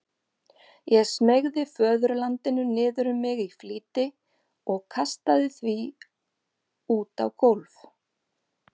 Ég smeygði föðurlandinu niður um mig í flýti og kastaði því út á gólf.